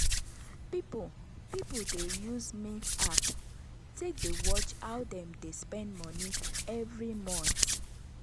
people people dey use mint app take dey watch how dem dey spend money every month.